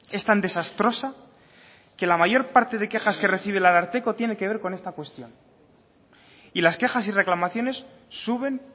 es tan desastrosa que la mayor parte de quejas que recibe el ararteko tiene que ver con esa cuestión y las quejas y reclamaciones suben